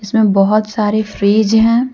बहुत सारे फ्रिज हैं।